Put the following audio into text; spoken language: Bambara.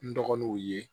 N dɔgɔnunw ye